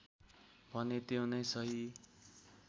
भने त्यो नै सही